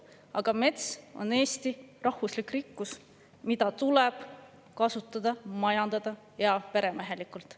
Aga mets on Eesti rahvuslik rikkus, mida tuleb kasutada ja majandada heaperemehelikult.